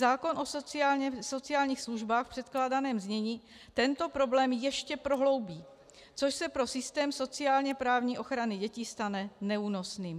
Zákon o sociálních službách v předkládaném znění tento problém ještě prohloubí, což se pro systém sociálně-právní ochrany dětí stane neúnosným.